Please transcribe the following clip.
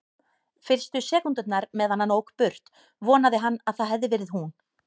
Fyrstu sekúndurnar meðan hann ók burt vonaði hann að það hefði verið hún.